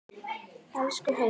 Elsku Haukur!